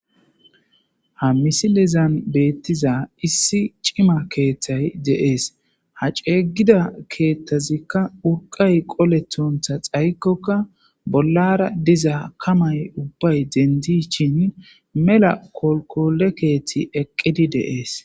Ha misilizan beettiza issi cima keeththay deees ha ceeygida keethtazikka urqay qolethontha xaykkoka bollara diza kamay ubbay dendi shin mela kolkole keethti eqqidi dees.